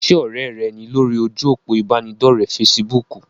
Ṣé ọ̀rẹ́ rẹ ní lórí ojú òpó ìbánidọ́rẹ̀ fesibúùkù?